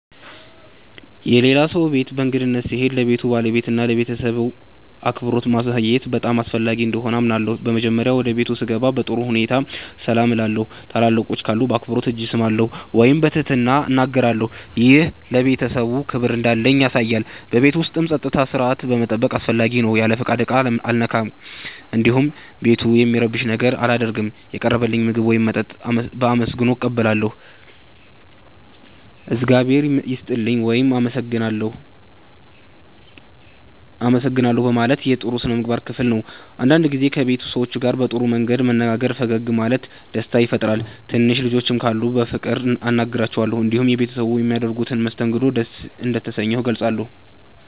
የሌላ ሰው ቤት በእንግድነት ስሄድ ለቤቱ ባለቤትና ለቤተሰቡ አክብሮት ማሳየት በጣም አስፈላጊ እንደሆነ አምናለሁ። በመጀመሪያ ወደ ቤቱ ስገባ በጥሩ ሁኔታ ሰላም እላለሁ። ታላላቆች ካሉ በአክብሮት እጅ እሰማለሁ ወይም በትህትና እናገራለሁ። ይህ ለቤተሰቡ ክብር እንዳለኝ ያሳያል። በቤቱ ውስጥ ጸጥታና ሥርዓት መጠበቅም አስፈላጊ ነው። ያለ ፍቃድ ዕቃ አልነካም፣ እንዲሁም ቤቱን የሚረብሽ ነገር አላደርግም። የቀረበልኝን ምግብ ወይም መጠጥ በአመስግኖ እቀበላለሁ። “እግዚአብሔር ይስጥልኝ” ወይም “አመሰግናለሁ” ማለት የጥሩ ሥነ ምግባር ክፍል ነው። አንዳንድ ጊዜ ከቤት ሰዎች ጋር በጥሩ መንገድ መነጋገርና ፈገግ ማለት ደስታ ይፈጥራል። ትንሽ ልጆች ካሉም በፍቅር አናግራቸዋለሁ። እንዲሁም ቤተሰቡ በሚያደርጉት መስተንግዶ ደስ እንደተሰኘሁ እገልጻለሁ።